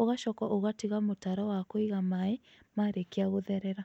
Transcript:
ũgacoka ũgatiga mũtaro wa kũiga maĩĩ marĩkia gũtherera